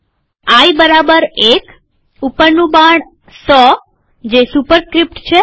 આઈ બરાબર ૧ ઉપરનું બાણ ૧૦૦ જે સુપરસ્ક્રીપ્ટ છે